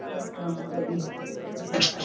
કોઈ કામ મળે નઈ